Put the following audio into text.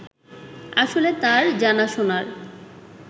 আসলে তার জানাশোনার